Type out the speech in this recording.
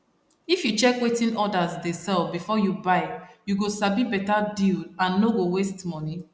if you check wetin others dey sell before you buy you go sabi better deal and no go waste money